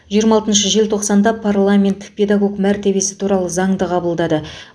жиырма алтыншы желтоқсанда парламент педагог мәртебесі туралы заңды қабылдады